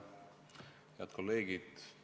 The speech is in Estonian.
Head kolleegid!